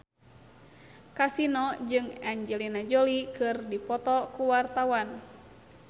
Kasino jeung Angelina Jolie keur dipoto ku wartawan